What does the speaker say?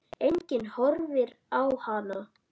Enginn horfir á hana.